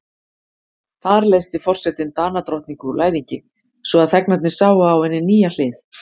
Þar leysti forsetinn Danadrottningu úr læðingi, svo að þegnarnir sáu á henni nýja hlið.